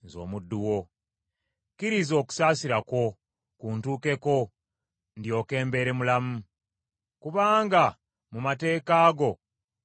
Kkiriza okusaasira kwo kuntuukeko ndyoke mbeere mulamu; kubanga mu mateeka go mwe nsanyukira.